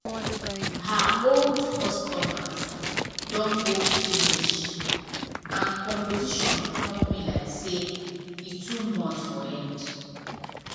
her old customers don go finish and competition come be like say e too much for head